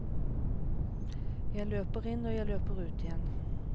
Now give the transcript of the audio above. Jeg løper inn og løper ut igjen.